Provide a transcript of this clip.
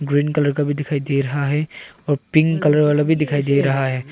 Green colour का भी दिखाई दे रहा है और पिंक कलर वाला भी दिखाई दे रहा है।